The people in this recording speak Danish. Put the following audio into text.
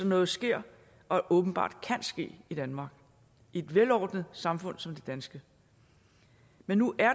noget sker og åbenbart kan ske i danmark i et velordnet samfund som det danske men nu er